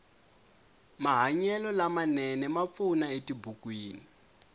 mahanyelo lama nene ma pfuna etibukwini